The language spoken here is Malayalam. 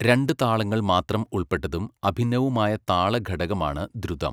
രണ്ട് താളങ്ങൾ മാത്രം ഉൾപ്പെട്ടതും അഭിന്നവുമായ താളഘടകമാണ് ദ്രുതം.